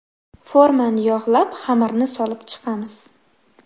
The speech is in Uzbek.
Formani yog‘lab, xamirni solib chiqamiz.